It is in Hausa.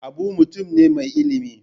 Abu mutum ne mai ilimi.